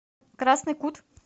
красный кут